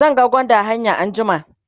zan ga gwanda a hanya anjima